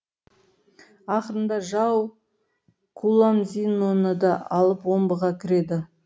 ақырында жау куломзиноны да алып омбыға кіреді